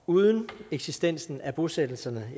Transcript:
uden eksistensen af bosættelserne